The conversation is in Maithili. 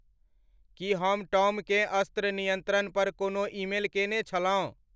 की हम टॉमकेँ अस्त्र नियंत्रण पर कोनो ईमेल केने छलौं